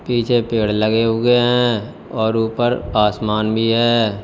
पीछे पेड़ लगे हुए हैं और ऊपर आसमान भी है।